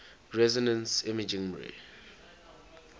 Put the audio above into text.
resonance imaging mri